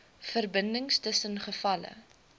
verbindings tussen gevalle